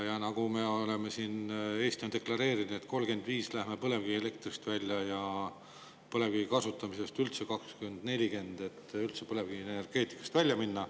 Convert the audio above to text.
Ja nagu Eesti on deklareerinud, aastal 2035 me loobume põlevkivielektrist ja aastal 2040 tuleb üldse põlevkivienergeetikast välja minna.